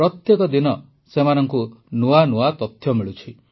ପ୍ରତ୍ୟେକ ଦିନ ସେମାନଙ୍କୁ ନୂଆ ନୂଆ ତଥ୍ୟ ମିଳୁଛି